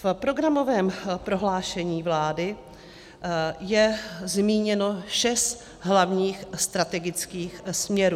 V programovém prohlášení vlády je zmíněno šest hlavních strategických směrů.